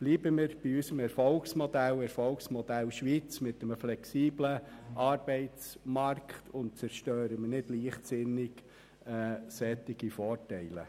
Bleiben wir bei unserem Erfolgsmodell Schweiz mit einem flexiblen Arbeitsmarkt und zerstören wir nicht leichtsinnig solche Vorteile.